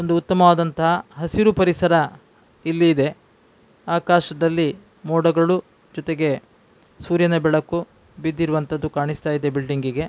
ಒಂದು ಉತ್ತಮವಾದಂಥ ಹಸಿರು ಪರಿಸರ ಇಲ್ಲಿ ಇದೆ ಆಕಾಶದಲ್ಲಿ ಮೋಡಗಳು ಜೊತೆಗೆ ಸೂರ್ಯನ ಬೆಳಕು ಬಿದ್ದಿರುವಂತದ್ದು ಕಾಣಿಸ್ತಾ ಇದೆ ಬಿಲ್ಡಿಂಗ್ಗೆ .